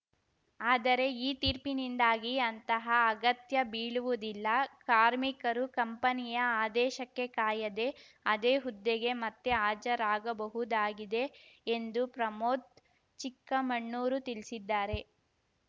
ಆದರೆ ಈ ತೀರ್ಪಿನಿಂದಾಗಿ ಅಂತಹ ಅಗತ್ಯ ಬೀಳುವುದಿಲ್ಲ ಕಾರ್ಮಿಕರು ಕಂಪನಿಯ ಆದೇಶಕ್ಕೆ ಕಾಯದೆ ಅದೇ ಹುದ್ದೆಗೆ ಮತ್ತೆ ಹಾಜರಾಗಬಹುದಾಗಿದೆ ಎಂದು ಪ್ರಮೋದ್‌ ಚಿಕ್ಕಮಣ್ಣೂರು ತಿಳಿಸಿದ್ದಾರೆ